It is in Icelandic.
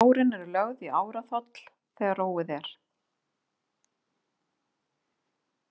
Árin er lögð í áraþoll þegar róið er.